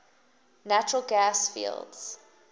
natural gas fields